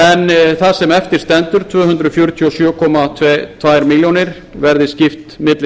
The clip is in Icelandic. en það sem eftir stendur tvö hundruð fjörutíu og sjö komma tveimur milljónum króna verði skipt milli